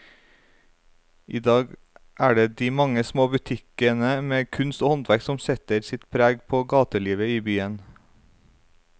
I dag er det de mange små butikkene med kunst og håndverk som setter sitt preg på gatelivet i byen.